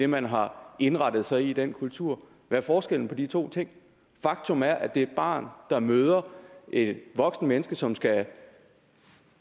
man har indrettet sig på i den kultur hvad er forskellen på de to ting faktum er at det er et barn der møder et voksent menneske som skal